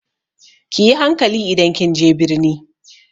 Ki yi hankali idan kin je birni!